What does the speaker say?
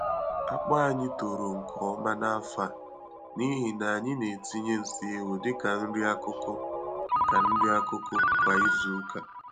Akpu anyị toro nke ọma n'afọ a n'ihi na anyị na-etinye nsị ewu dị ka nri-akụkụ ka nri-akụkụ kwa izuka.